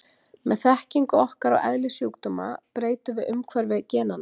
Með þekkingu okkar á eðli sjúkdóma breytum við umhverfi genanna.